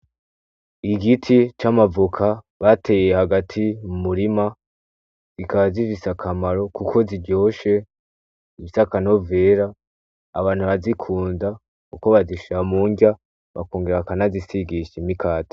Igiti c'amavoka bateye hagati mu umurima zikaba zifise akamaro kuko ziryoshe zifise akanovera, abantu barazikunda kuko bazishira mu nrya bakongera bakanizisigisha mu mukata.